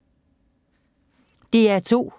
DR2